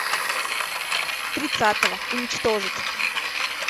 тридцатого уничтожить